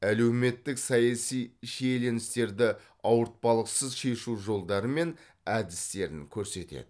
әлеуметтік саяси шиеленістерді ауыртпалықсыз шешу жолдары мен әдістерін көрсетеді